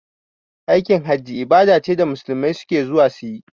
Aikin hajji ibada ce da musulmai suke zuwa suyi